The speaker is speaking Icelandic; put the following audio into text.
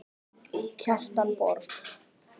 Kjartan Borg.